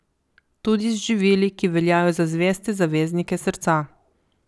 Tudi z živili, ki veljajo za zveste zaveznike srca.